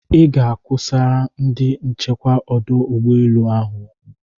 I ga-ekwusara ndị nchekwa ọdụ ụgbọ elu ahụ okwu.